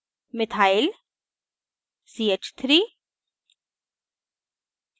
methyl methyl ch3